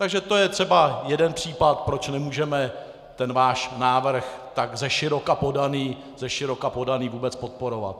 Takže to je třeba jeden případ, proč nemůžeme ten váš návrh, tak zeširoka podaný, vůbec podporovat.